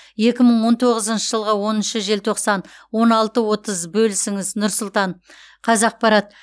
екі мың он тоғызыншы жылғы оныншы желтоқсан он алты отыз бөлісіңіз нұр сұлтан қазақпарат